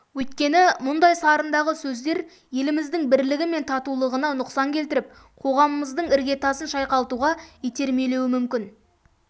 өйткені мұндай сарындағы сөздер еліміздің бірлігі мен татулығына нұқсан келтіріп қоғамымыздың іргетасын шайқалтуға итермелеуі мүмкін